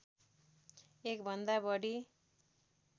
एक भन्दा बढी